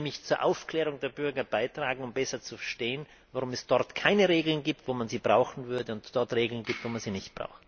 Das würde nämlich zur Aufklärung der Bürger beitragen, um besser zu verstehen, warum es dort keine Regeln gibt, wo man sie brauchen würde, und es dort Regeln gibt, wo man sie nicht braucht.